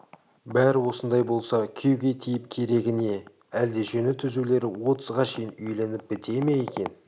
бәрі осындай болса күйеуге тиіп керегі не әлде жөні түзулері отызға шейін үйленіп біте ме екен